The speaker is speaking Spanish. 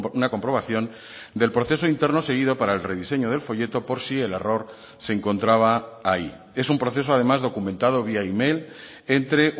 una comprobación del proceso interno seguido para el rediseño del folleto por si el error se encontraba ahí es un proceso además documentado vía email entre